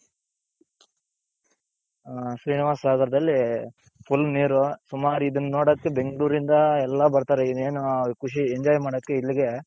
ಹ ಶ್ರೀನಿವಾಸ ಸಾಗಾರದಲ್ಲಿ full ನೀರು ಸುಮಾರ್ ಇದನ್ನೋಡೋಕೆ ಬೆಂಗಳೂರಿಂದ ಎಲ್ಲಾ ಬರ್ತಾರೆ ಇನ್ನೇನು ಖುಷಿ enjoy ಮಾಡೋಕೆ ಇಲ್ಲಿಗೆ.